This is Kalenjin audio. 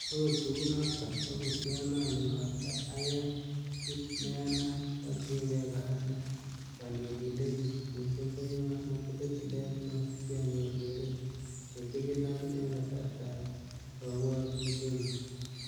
Okot kounoton, okot yon angen ale ayae kit neyanat, atienge kora ne konetindenyun, missing ko yon atile tilet neo, sianyor keret nichigilat en kasartab kobwotutienyun.